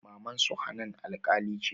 Mamansu hanan alƙali ce